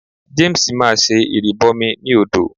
James máa ṣe ìrìbọmi ní odò.